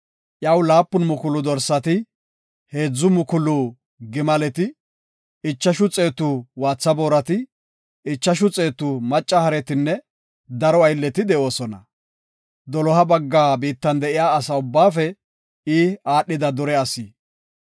Iyaw laapun mukulu dorsati, heedzu mukulu gimaleti, ichashu xeetu waatha boorati, ichashu xeetu macca haretinne daro aylleti de7oosona. Doloha bagga biittan de7iya asa ubbaafe I aadhida dure asi.